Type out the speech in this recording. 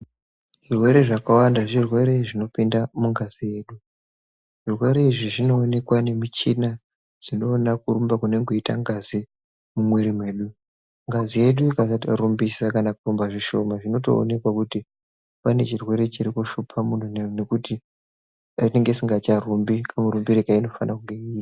Zvirwere zvakawanda zvirwere zvinopinda mungazi, zvirwere izvi zvinoonekwa nemichina dzinoona kurumba kunenge kweiita ngazi mumwiri mwedu, ngazi yedu ikasatorumbisa kana kurumba zvishoma zvinotoonekwa kuti pane chirwere chiri kushupa muntu nekuti inenge isingacharumbi kamurumbiro kainofana kuita.